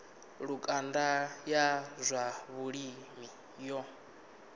lukanda ya zwa vhulimi yo